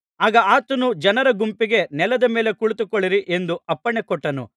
ಆಗ ಆತನು ಜನರ ಗುಂಪಿಗೆ ನೆಲದ ಮೇಲೆ ಕುಳಿತುಕೊಳ್ಳಿರಿ ಎಂದು ಅಪ್ಪಣೆ ಕೊಟ್ಟನು